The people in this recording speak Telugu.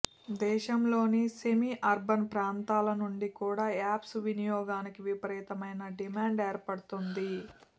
దేశంలోని సెమీ అర్బన్ ప్రాంతాల నుంచి కూడా యాప్స్ వినియోగానికి విపరీతమైన డిమాండ్ ఏర్పడుతోంది